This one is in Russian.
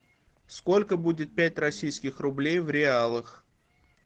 сколько будет пять российских рублей в реалах